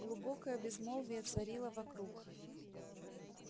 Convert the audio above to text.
глубокое безмолвие царило вокруг